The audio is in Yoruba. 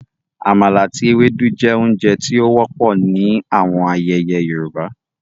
Àmala ati éwédu je ounje ti o wọpọ ni awọn ayẹyẹ Yorùbá